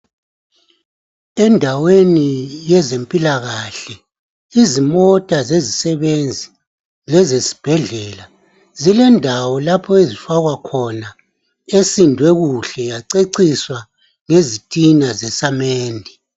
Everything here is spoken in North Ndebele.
Endaweni yezempilakahle, izimota zezisebenzi lezesibhedlela, zilendawo lapho ezifakwa khona, esindwe kuhle yaceciswa ngezitina zesamende.